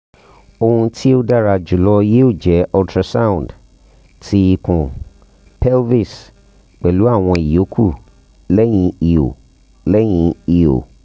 ohun ti o dara julọ yoo jẹ ultrasound ti ikun pelvis pẹlu awọn iyokù lẹhin iho lẹhin iho